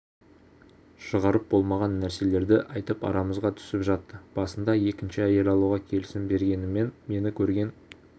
шығарып болмаған нәрселерді айтып арамызға түсіп жатты басында екінші әйел алуға келісім бергенімен мені көрген